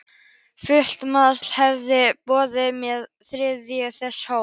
Fullt meðlag hafði verið boðið með þriðjungi þess hóps.